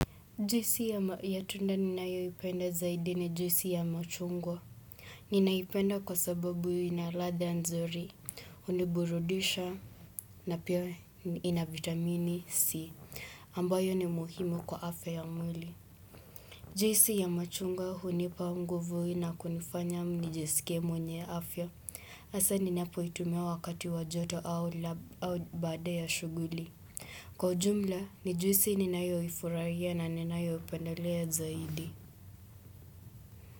Juisi ya tunda ni nayo ipenda zaidi ni juisi ya machungwa. Ninaipenda kwa sababu hio ina ladha nzuri, huniburudisha na pia ina vitamini C, ambayo ni muhimu kwa afya ya mwili. Juisi ya machungwa hunipa nguvu inakunifanya nijisikie mwenye afya. Hasa ninapoitumia wakati wa joto au baada ya shughuli. Kwa ujumla, ni juisi ninayoifurahia na ninayo pendelea zaidi.